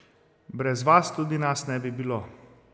Brez vas tudi nas ne bi bilo!